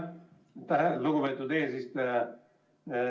Aitäh, lugupeetud eesistuja!